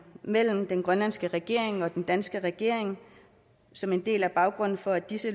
mellem den grønlandske regering og den danske regering som en del af baggrunden for at disse